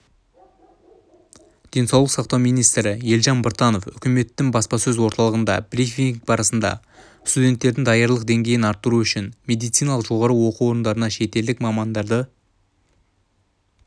денсаулық сақтау министрі елжан біртанов үкіметтің баспасөз орталығындағы брифинг барысында студенттердің даярлық деңгейін арттыру үшін медициналық жоғарғы оқу орындарына шетелдік мамандарды